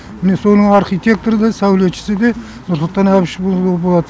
міне соның архитекторы да сәулетшісі де нұрсұлтан әбішұлы болады